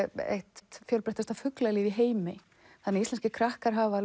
eitt fjölbreyttasta fuglalíf í heimi þannig að íslenskir krakkar hafa